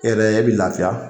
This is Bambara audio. E yɛrɛ, e bi lafiya .